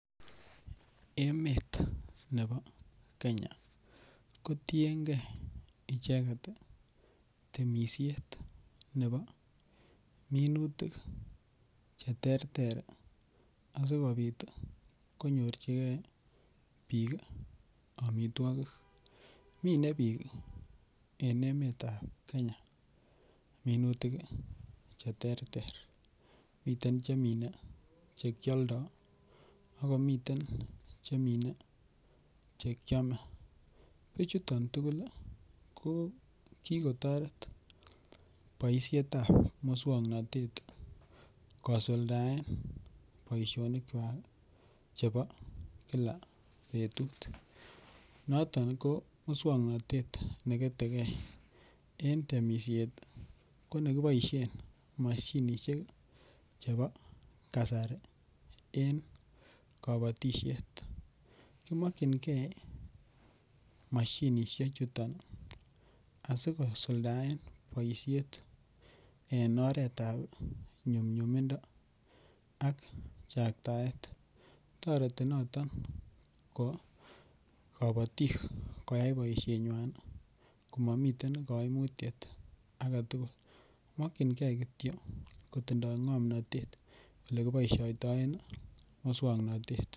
Emet nebo Kenya kotiengee icheket temishet nebo minutik cheterter asikobit konyorjigee bik omitwogik, mine bik en emetab Kenya minutik cheterter miten chemine chekioldo akomiten chemine chekiome kochuton tugul kokikotoret boishetab muswoknotet kosuldaen boishonikwak chebo kila betut noton ko muswoknotet neketekee en temishet ii konekiboishen moshinishek chebo kasari en kobotishet kimokchingee moshinishechutok asikisuldaen boishet en oretab nyumnyumindo ak chaktaet toreti noton kobotik koyai boishenywan komomiten koimutiet aketugul mokchingee kityok kotindo ngomnotet nekiboishoitoen muswoknotet.